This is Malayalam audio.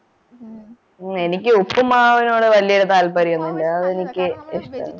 ഹും എനിക്ക് ഉപ്പുമാവിനോട് വല്യ താല്പര്യമൊന്നുമില്ല എനിക്ക്